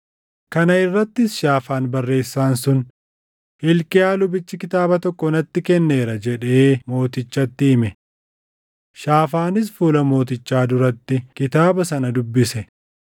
Kana irrattis Shaafaan barreessaan sun, “Hilqiyaa lubichi kitaaba tokko natti kenneera” jedhee mootichatti hime. Shaafaanis fuula mootichaa duratti kitaaba sana dubbise.